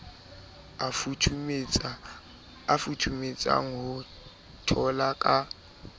a futhumetseng ho tola ka